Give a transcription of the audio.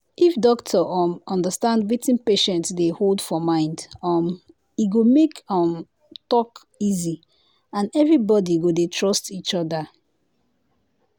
if doctor um understand wetin patient dey hold for mind um e go make um talk easy and everybody go dey trust each other.